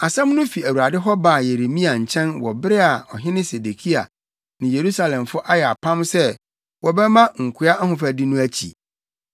Asɛm no fi Awurade hɔ baa Yeremia nkyɛn wɔ bere a ɔhene Sedekia ne Yerusalemfo ayɛ apam sɛ wɔbɛma nkoa ahofadi no akyi.